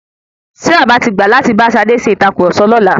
Ṣé bàbá tí gbà láti bá Ṣadé ṣe ìtàkurọ̀sọ lọ́la?